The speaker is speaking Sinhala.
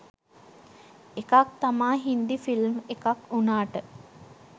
එකක් තමා හින්දි ෆිල්ම් එකක් උනාට